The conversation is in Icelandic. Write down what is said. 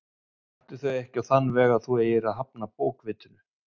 Taktu þau ekki á þann veg að þú eigir að hafna bókvitinu.